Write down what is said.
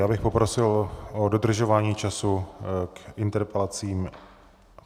Já bych poprosil o dodržování času k interpelacím.